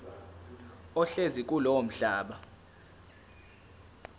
ohlezi kulowo mhlaba